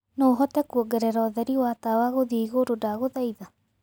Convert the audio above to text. no ũhote kuongerera ũtherĩ wa tawa guthĩe ĩgũrũ ndagũthaĩtha